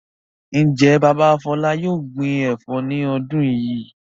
Ǹjẹ́ bàbá Fọlá yóò gbin ẹ̀fọ́ ní ọdún yìí?